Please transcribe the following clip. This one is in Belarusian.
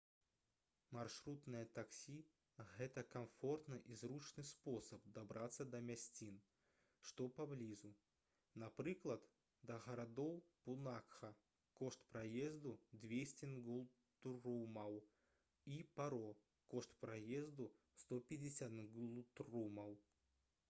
маршрутнае таксі — гэта камфортны і зручны спосаб дабрацца да мясцін што паблізу — напрыклад да гарадоў пунакха кошт праезду — 200 нгултрумаў і паро кошт праезду — 150 нгултрумаў